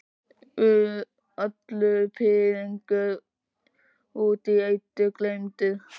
Allur pirringur út í Eddu gleymdur.